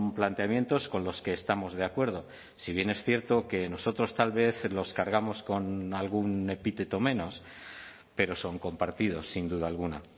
planteamientos con los que estamos de acuerdo si bien es cierto que nosotros tal vez los cargamos con algún epíteto menos pero son compartidos sin duda alguna